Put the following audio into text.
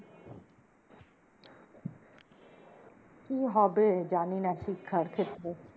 কি হবে জানিনা শিক্ষার ক্ষেত্রে